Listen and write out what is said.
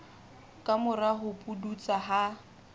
ka mora ho pudutsa ha